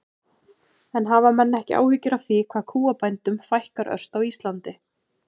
En hafa menn ekki áhyggjur af því hvað kúabændum fækkar ört á Íslandi?